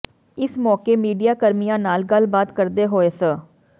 ਇਸ ਮੌਕੇ ਮੀਡੀਆ ਕਰਮੀਆਂ ਨਾਲ ਗੱਲਬਾਤ ਕਰਦੇ ਹੋਏ ਸ